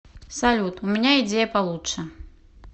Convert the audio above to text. салют у меня идея получше